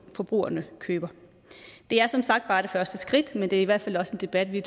forbrugerne køber det er som sagt bare det første skridt men det er i hvert fald også en debat vi